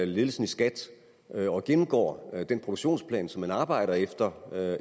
ledelsen i skat og gennemgår den produktionsplan som man arbejder efter